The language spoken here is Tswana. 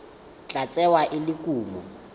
tla tsewa e le kumo